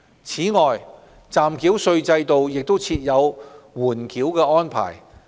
此外，暫繳稅制度亦設有緩繳安排。